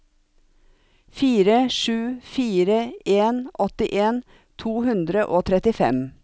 fire sju fire en åttien to hundre og trettifem